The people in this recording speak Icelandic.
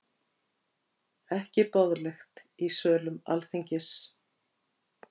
Ekki boðlegt í sölum Alþingis